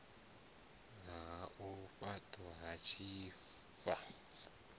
ha u faṱwa ha tshifha